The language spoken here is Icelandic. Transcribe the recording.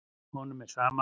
Honum er sama.